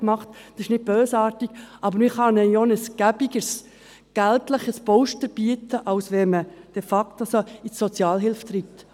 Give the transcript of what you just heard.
Das ist nicht bösartig, aber man kann ihnen ja ein bequemeres Geld-Polster bieten, als wenn man sie de facto in die Sozialhilfe treibt.